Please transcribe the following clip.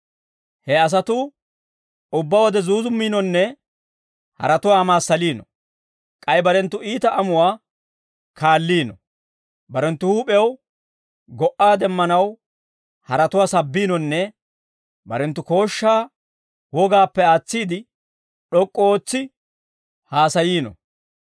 He asatuu ubbaa wode zuuzummiinonne haratuwaa amaassaliino; k'ay barenttu iita amuwaa kaalliino; barenttu huup'ew go"a demmanaw haratuwaa sabbiinonne barenttu kooshshaa wogaappe aatsiide, d'ok'k'u ootsi haasayiino.